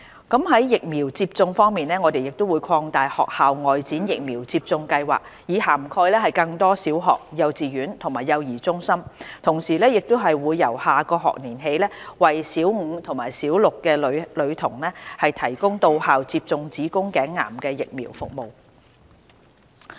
在疫苗接種方面，我們會擴大"學校外展疫苗接種計劃"以涵蓋更多小學、幼稚園及幼兒中心；同時亦會由下學年起為小五及小六女童提供到校接種子宮頸癌疫苗服務。